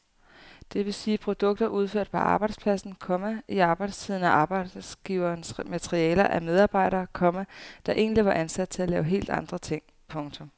Det vil sige produkter udført på arbejdspladsen, komma i arbejdstiden af arbejdsgiverens materialer af medarbejdere, komma der egentlig var ansat til at lave helt andre ting. punktum